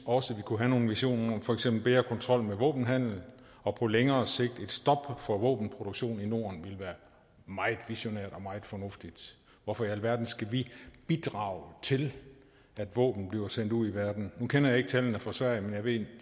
også kunne have nogle visioner for eksempel ville bedre kontrol med våbenhandel og på længere sigt et stop for våbenproduktion i norden være meget visionært og meget fornuftigt hvorfor i alverden skal vi bidrage til at våben bliver sendt ud i verden nu kender jeg ikke tallene for sverige jeg ved